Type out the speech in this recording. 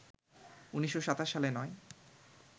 ১৯২৭ সালে নয়